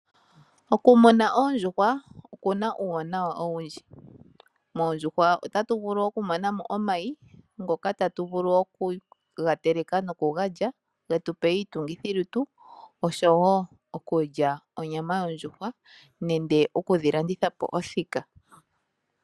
Okumuna oondjuhwa okuna uuwanawa owundji. Moondjuhwa otatu vulu okumona mo omayi, ngoka tatu vulu okuga teleka nokuga lya ge tu pe iitungithi osho wo okulya onyama yondjuhwa nenge okudhi landitha po othika.